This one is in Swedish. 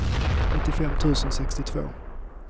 nittiofem tusen sextiotvå